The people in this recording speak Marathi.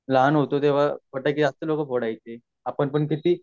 जेव्हा आपण लहान होतो तेव्हा फटाके जास्त लोक फोड़ायचे